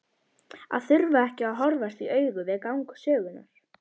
Að þurfa ekki að horfast í augu við gang sögunnar.